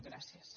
gràcies